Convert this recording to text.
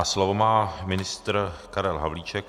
A slovo má ministr Karel Havlíček.